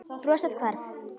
Brosið hvarf.